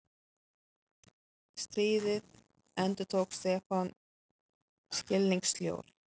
Stríðið? endurtók Stefán skilningssljór.